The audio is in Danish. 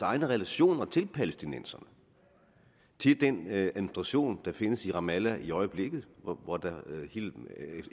egne relationer til palæstinenserne til den administration der findes i ramallah i øjeblikket hvor der